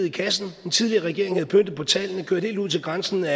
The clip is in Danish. i kassen den tidligere regering havde pyntet på tallene kørt helt ud til grænsen af